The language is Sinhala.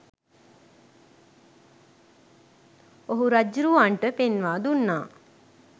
ඔහු රජ්ජුරුවන්ට පෙන්වා දුන්නා.